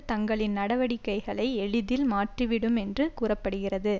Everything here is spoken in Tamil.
தங்களின் நடவடிக்கைகளை எளிதல் மாற்றிவிடும் என்று கூற படுகிறது